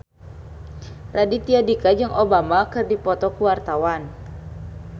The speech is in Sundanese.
Raditya Dika jeung Obama keur dipoto ku wartawan